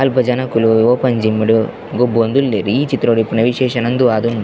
ಅಲ್ಪ ಜನೊಕುಲು open gym ಡ್ ಗೊಬ್ಬೊಂದುಲ್ಲೆರ್ ಈ ಚಿತ್ರೊಡ್ ವಿಶೇಷ ಉಂದು ಆದ್ ಉಂಡು.